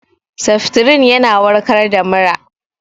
Seftrin tana warkar da mura